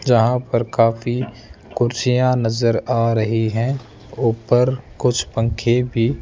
जहां पर काफी कुर्सियां नजर आ रही है ऊपर कुछ पंखे भी --